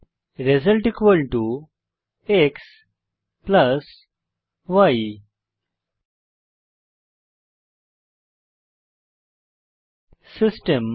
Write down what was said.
Result xy system